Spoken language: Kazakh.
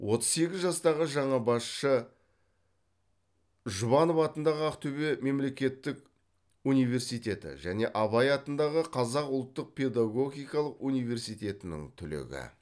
отыз сегіз жастағы жаңа басшы жұбанов атындағы ақтөбе мемлекеттік университеті және абай атындағы қазақ ұлттық педагогикалық университетінің түлегі